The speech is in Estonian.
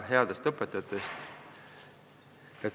Headest õpetajatest ma ei räägigi.